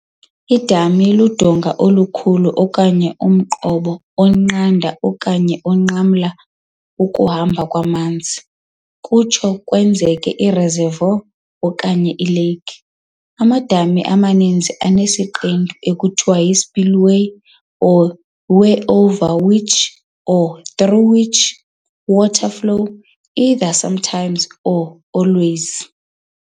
Idami ludonga olukhulu okanye umqobo onqanda okanye onqamla ukuhamba kwamanzi, kutsho kwenzeke ireservoir okanye ilake. Amadami amaninzi anesiqendu ekuthiwa yispillway or weir over which, or through which, water flows, either sometimes or always.